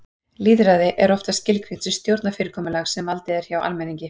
Lýðræði er oftast skilgreint sem stjórnarfyrirkomulag þar sem valdið er hjá almenningi.